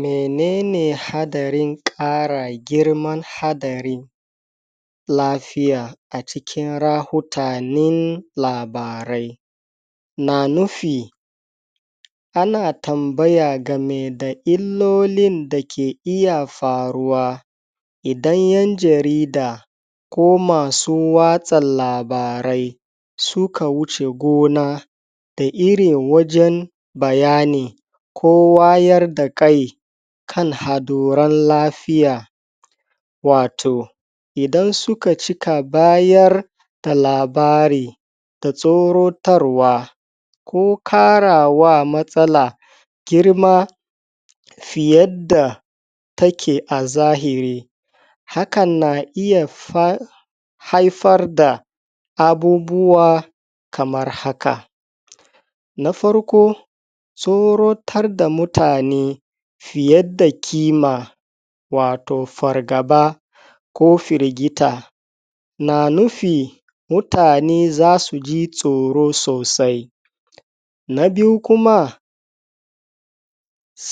menene hadarin ƙara girman hadari lafiya a cikin rahutanin labarai na nufi ana tambaya gameda illolin dakeb iya faruwa idan yan jarida ko masu watsa labarai suka wuce gona da iri wajen bayani ko wayar dakai kan haduran lafiya wato idan suka cka bayar da labari da tsorotarwa ko ƙarawa matsala girma fiyadda take a zahiri hakan na iya fa haifar da abubuwa kamar haka na farko tsorotarda mutane fiyeda kima wato fargaba ko firgita na nufi mutane zasu ji tsoro sosai na biyu kuma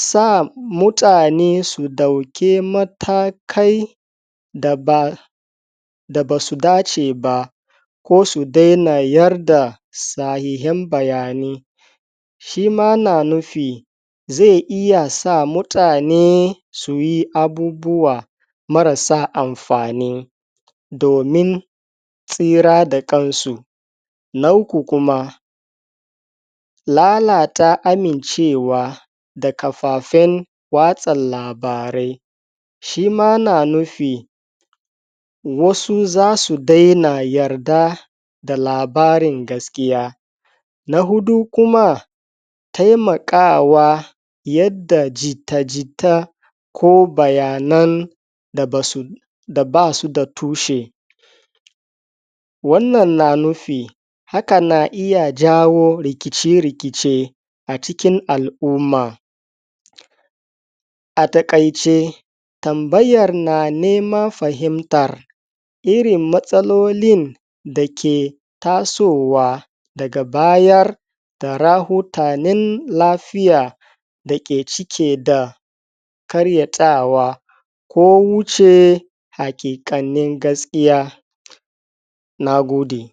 sa mutane su dauki matakai da ba da basu dace ba ko su dana yarda sahihan bayani shima na nufi zai iya sa mutane suyi abubuwa marasa amfani domin tsira da ƙansu na ukub kuma lalata amincewa da kafafen watsa labarai shima yana nufi wasu zasu daina yarda da labarin gaskiya na huɗu kuma taimakawa yadda jitta-jita ko bayanan da basu da basuda tushe wannan na nufi haka na iya jawo rikice-rikice a cikin al'uma a taƙaice tambayr na neman fahimtar irin matsalolin dake tasowa daga bayar da rahotanin lafiya dake cike da karyatawa ko wuce haƙiƙanin gaskiya nagode